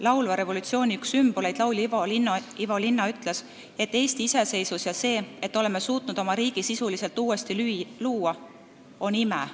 Laulva revolutsiooni üks sümboleid, laulja Ivo Linna ütles, et Eesti iseseisvus ja see, et oleme suutnud oma riigi sisuliselt uuesti luua, on ime.